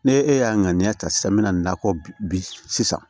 Ne e y'a ŋaniya ta sisan n bɛna nakɔ bi sisan